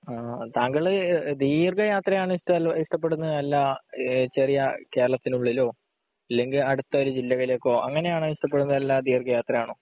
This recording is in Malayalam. ആഹ് താങ്കള് ദീര്ഘയാത്രയാണോ ഇഷ്ടപ്പെടുന്നെ അല്ലാ ഏഹ് ചെറിയ കേരളത്തിനുള്ളിലോ അല്ലെങ്കി അടുത്ത ആറു ജില്ലയിലേക്കോ അങ്ങിനെയാണോ ഇഷ്ടപ്പെടുന്നെ അല്ലാ ദീർഘയാത്രയാണോ